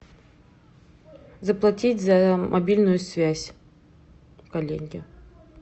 заплатить за мобильную связь коллеге